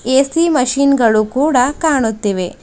A C machine ಗಳು ಕೂಡ ಕಾಣುತ್ತಿವೆ.